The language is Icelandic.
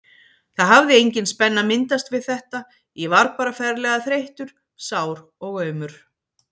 Það hafði engin spenna myndast við þetta, ég var bara ferlega þreyttur, sár og aumur.